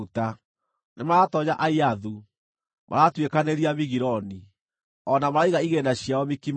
Nĩmaratoonya Aiathu; maratuĩkanĩria Migironi; o na maraiga igĩĩna ciao Mikimashi.